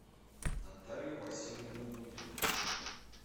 наталью васильевну дудину